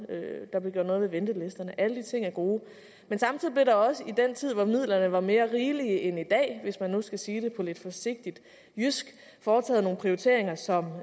der blev gjort noget ved ventelisterne alle de ting er gode men samtidig blev der også i den tid hvor midlerne var mere rigelige end i dag hvis man nu skal sige det på lidt forsigtigt jysk foretaget nogle prioriteringer som